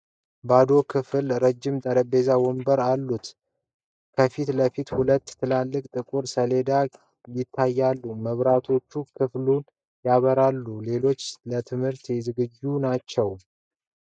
ባዶ ክፍል ረጅም ጠረጴዛዎችና ወንበሮች አሉት። ከፊት ለፊት ሁለት ትላልቅ ጥቁር ሰሌዳዎች (chalkboards) ይታያሉ። መብራቶች ክፍሉን ያበራሉ። ክፍሉ ለትምህርት ዝግጁ ነው?